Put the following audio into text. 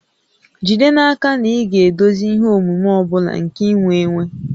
Jide n'aka na ị ga-edozi ihe omume ọ bụla nke iwe iwe